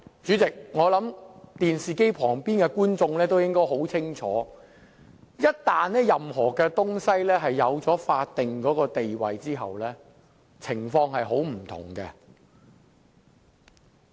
主席，我相信電視機前的觀眾應該很清楚知道，一旦一件事情擁有法定地位，情況便會很不同。